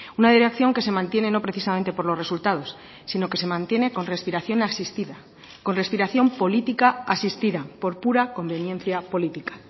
una dirección que se mantiene no precisamente por los resultados sino que se mantiene con respiración asistida con respiración política asistida por pura conveniencia política